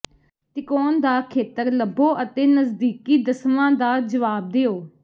ਤਿਕੋਣ ਦਾ ਖੇਤਰ ਲੱਭੋ ਅਤੇ ਨਜ਼ਦੀਕੀ ਦਸਵਾਂ ਦਾ ਜਵਾਬ ਦਿਓ